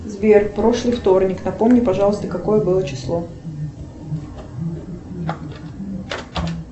сбер прошлый вторник напомни пожалуйста какое было число